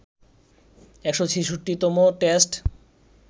১৬৬তম test